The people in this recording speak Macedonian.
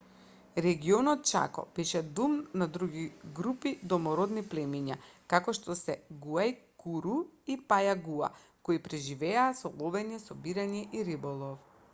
регионот чако беше дом на други групи домородни племиња како што се гуајкуру и пајагуа кои преживуваа со ловење собирање и риболов